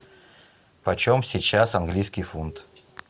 почем сейчас английский фунт